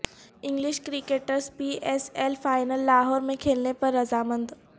English cricketers P S L final Lahore میں کھیلنے پر رضامند